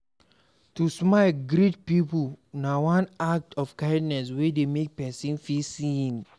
To de smile greet pipo na one act of kindness wey de make persin feel seen